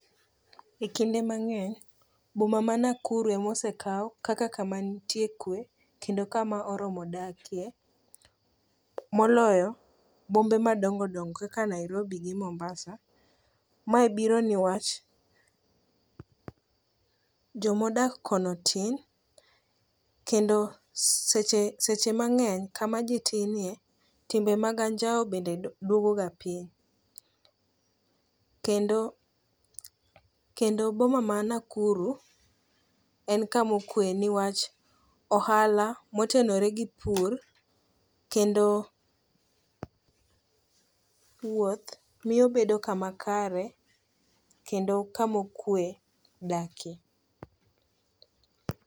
E kinde mang'eny, boma ma Nakuru ema osekaw kaka kama nitie kwe, kendo kama oromo dakie, moloyo bombe madongo dongo kaka Nairobi gi Mombasa, mae biro niwach jomodak kono tin ,kendo seche ma ng'eny, kama ji tin ye, timbe mag anjawo bende dwogoga piny. Kendo boma ma Nakuru, en kamokuwe niwach ohala motenore gi pur, kendo wuoth miyo bedo kama kare, kendo kamo kuwe dakie,.